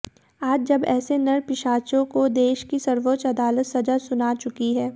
आज जब ऐसे नर पिशाचों को देश की सर्वोच्च अदालत सजा सुना चुकी है